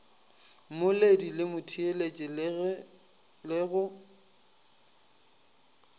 mmoledi le motheeletši le go